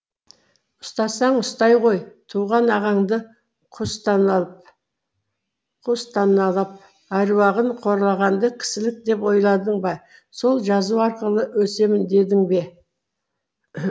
ұстасаң ұстай ғой туған ағаңды күстаналап әруағын қорлағанды кісілік деп ойладың ба сол жазу арқылы өсемін дедің бе